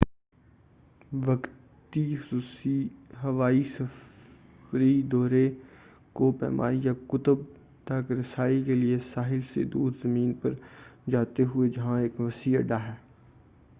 وقتی خصوصی ہوائی سفری دورے کوہ پیمائی یا قطب تک رسائی کے لئے ساحل سے دور زمین پر جاتے ہیں جہاں ایک وسیع اڈہ ہے